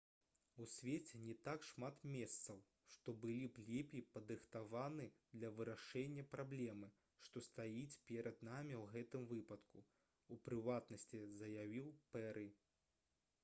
«у свеце не так шмат месцаў што былі б лепей падрыхтаваны для вырашэння праблемы што стаіць перад намі ў гэтым выпадку» — у прыватнасці заявіў пэры